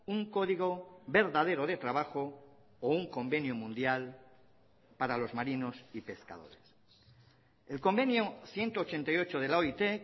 un código verdadero de trabajo o un convenio mundial para los marinos y pescadores el convenio ciento ochenta y ocho de la oit